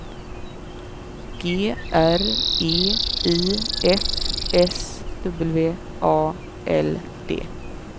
G R E I F S W A L D